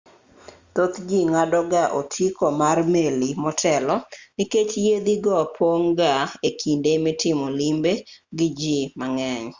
thoth ji ng'ado ga otiko mar meli motelo nikech yiedhi go pong' ga e kinde mitimo limbe gi ji mang'eny